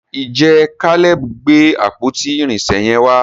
ìje Caleb gbé àpótí irinṣẹ yen wà?